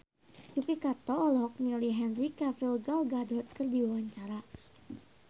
Yuki Kato olohok ningali Henry Cavill Gal Gadot keur diwawancara